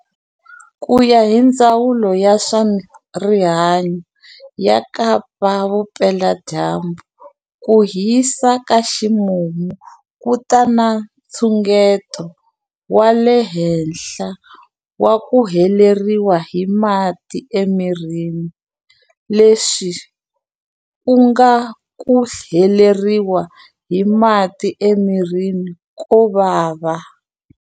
Ku ya hi Ndzawulo ya swa Rihanyu ya Kapa-Vupeladyambu, ku hisa ka ximumu ku ta na nxungeto wa le henhla wa ku heleriwa hi mati emirini, leswi ku nga ku heleriwa hi mati emirini ko vava.